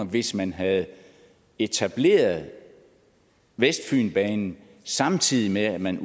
hvis man havde etableret vestfynbanen samtidig med at man